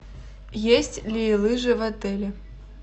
есть ли лыжи в отеле